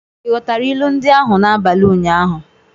Ị ghọtara ilu ndị ahụ n'abalị ụnyaahụ?